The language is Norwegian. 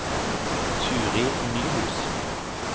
Turid Nyhus